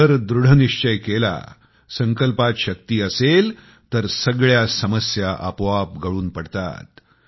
जर दृढनिश्चय केला संकल्पात शक्ती असेल तर सगळ्या समस्या आपोआप गळून पडतात